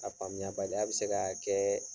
A faamuya baliya bɛ se ka kɛ